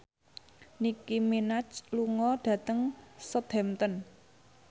Nicky Minaj lunga dhateng Southampton